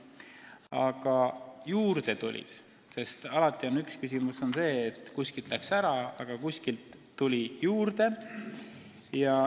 Aga kuskilt läks inimesi ära, kuskile tuli juurde.